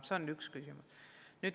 See on üks küsimus.